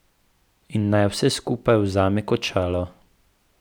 In naj vse skupaj vzame kot šalo.